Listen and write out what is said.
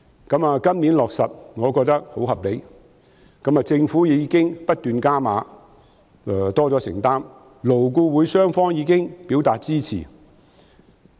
今年可以落實，我覺得很合理，政府已不斷"加碼"，願意作出更多承擔，勞工顧問委員會雙方亦已表示支持。